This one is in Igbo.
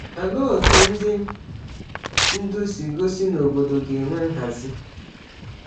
Olee otú ndị ndú si gosi na obodo ga-enwe nhazi?